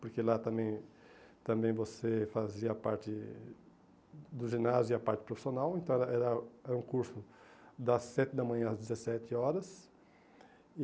Porque lá também também você fazia parte do ginásio e a parte profissional, então era era um curso das sete da manhã às dezessete horas.